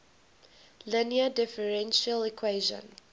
linear differential equation